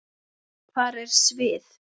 Hvað er svið?